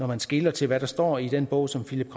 man skeler til hvad der står i den bog som philippe